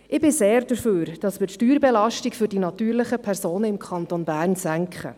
Ich bin sehr dafür, dass wir die Steuerbelastung für die natürlichen Personen im Kanton Bern senken.